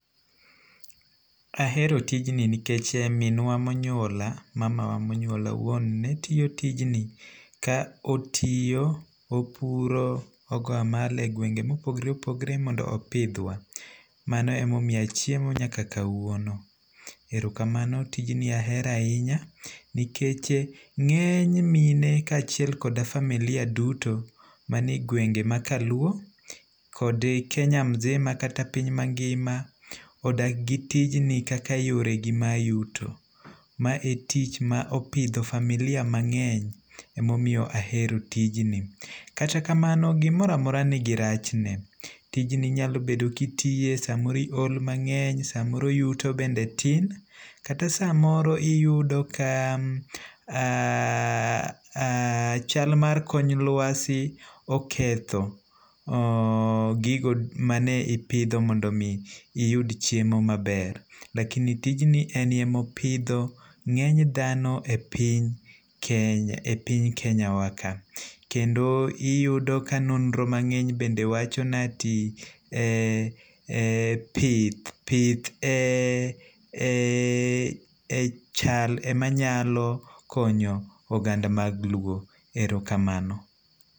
Ahero tijni nikech minwa ma onyuola, mamawa ma onyuola owuon ne tiyo tijni ka otiyo, opuro ogo amal e gwenge' ma opogore opogore mondo opithwa, mano e ma omiya chiemo nyaka kawuono, erokamano tijni ahero ahinya nikeche nge'ny mine kachiel koda familia duto manie gwege' makaluo kod kenya mzima kata piny mangima odak gi tijni kaka yore gi mag yuto mae e tich ma opitho familia mange'ny e ma omiyo ahero tijni, katakamano gimoro amora nigi rachne tijni inyalo bedo ka itiye samoro ihol mange'ny samoro yuto bende tin kata samoro iyudo ka chal mar kor lwasi oketho gigo mane ipitho mondo omi iyud chiemo maber lakini tijni enemopitho nge'ny thano e piny e piny Kenya waka kendo iyudo ka nondro mange'ny bende wacho na ti ee pith ee chal emanyalo konyo oganada mag luo erekamano.